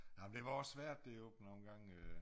Jamen det var også svært det op nogengange øh